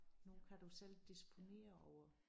Nu kan du selv disponere over